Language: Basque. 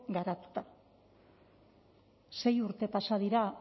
garatuta sei urte pasa dira